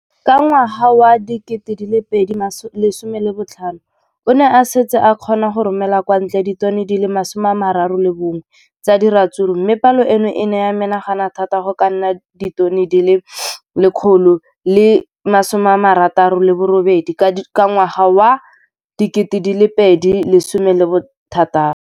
Ka ngwaga wa 2015, o ne a setse a kgona go romela kwa ntle ditone di le 31 tsa ratsuru mme palo eno e ne ya menagana thata go ka nna ditone di le 168 ka ngwaga wa 2016.